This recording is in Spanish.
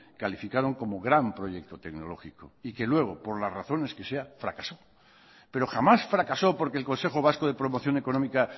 calificaron como gran proyecto tecnológico y que luego por las razones que sea fracasó pero jamás fracasó porque el consejo vasco de promoción económica